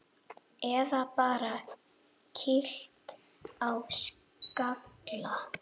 Eða bara kýlt á skalla!